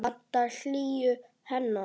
Vantar hlýju hennar.